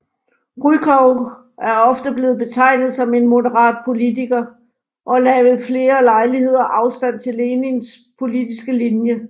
Rykov er ofte blevet betegnet som en moderat politiker og lagde ved flere lejligheder afstand til Lenins politiske linje